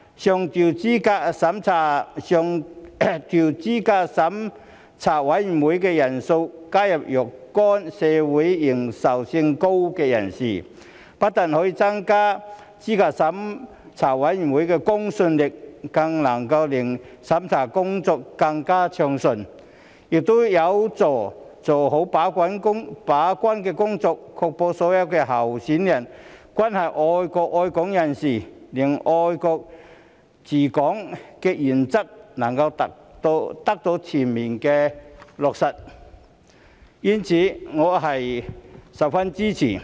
上調資審會人數上限，加入若干名社會認受性高的人士，不但可以增加資審會的公信力，更能令審查工作更為順暢，亦有助做好把關工作，確保所有候選人均是愛國愛港人士，令"愛國者治港"原則能得到全面落實，因此我十分支持。